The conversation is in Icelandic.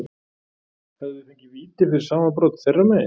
Hefðum við fengið víti fyrir sama brot þeirra megin?